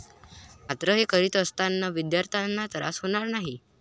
मात्र हे करीत असताना विद्यार्थ्यांना त्रास होणार नाही.